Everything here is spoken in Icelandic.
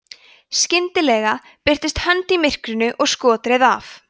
skyndilega birtist hönd í myrkrinu og skot reið af